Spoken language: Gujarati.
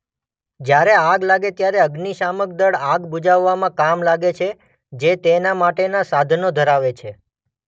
જયારે આગ લાગે ત્યારે અગ્નિશામક દળ આગ બુઝાવવા કામે લાગે છે જે તેના માટેના સાધનો ધરાવે છે.